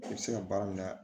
I bɛ se ka baara min na